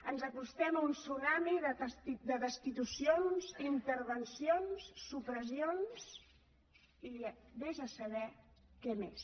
ens acostem a un tsunami de destitucions intervencions supressions i ves a saber què més